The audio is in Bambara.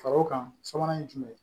Faro kan sabanan ye jumɛn ye